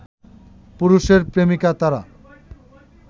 পুরুষের প্রেমিকা তারা